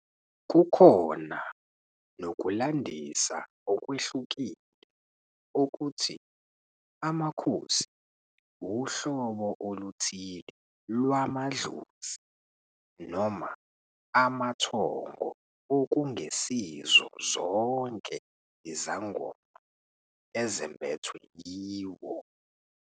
Kukhona nokulandisa okwehlukile okuthi amakhosi uhlobo oluthile lwamadlozi noma amathongo okungesizo zonke izangoma ezembethwe iwo.